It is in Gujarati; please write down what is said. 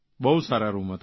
બહુ સારા રૂમ હતા